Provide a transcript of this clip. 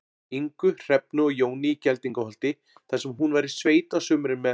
Ingu, Hrefnu og Jóni í Geldingaholti, þar sem hún var í sveit á sumrin með